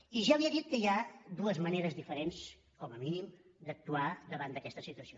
i ja li he dit que hi ha dues maneres diferents com a mínim d’actuar davant d’aquesta situació